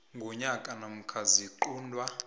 ngonyaka namkha ziquntwa